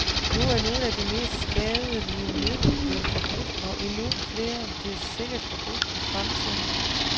Nu er nogle af de mest skadelige midler blevet forbudt, og endnu flere bliver sikkert forbudt i fremtiden.